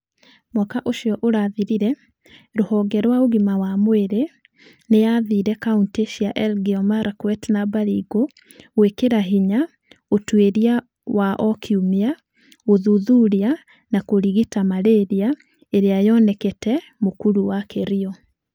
Mwaka ũcio ũrathirire, rũhonge rwa ũgima wa mwĩrĩ nĩ yaathire kaunti cia Elgeyo Marakwet na Baringo gwĩkĩra hinya ũtuĩria wa o kiumia, gũthuthuria na kũrigita malaria ĩrĩa yonekaga mũkuru wa Kerio.